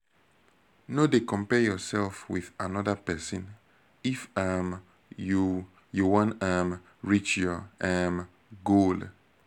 no dey compare yourself with anoda pesin if um you you wan um reach your um goal